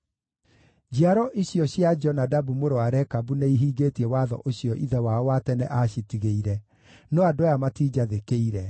Njiaro icio cia Jonadabu mũrũ wa Rekabu nĩihingĩtie watho ũcio ithe wao wa tene aacitigĩire, no andũ aya matinjathĩkĩire.’